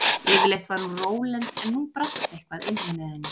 Yfirleitt var hún rólynd en nú brast eitthvað innra með henni.